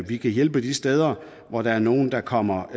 vi kan hjælpe de steder hvor der er nogle der kommer